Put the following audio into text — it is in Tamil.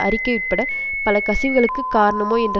அறிக்கை உட்பட பல கசிவுகளுக்குக் காரணமோ என்ற